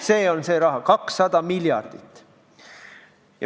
See on see raha, 200 miljardit.